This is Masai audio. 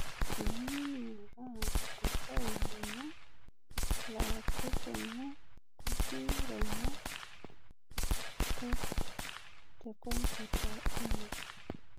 Eniyeu ning'ora orfail lino laa kipotu kuki ronya .txt tekomputa ino